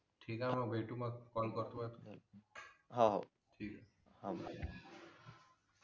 ठीक आहे मग भेटू मग कॉल करतो हाव ठीक हे हा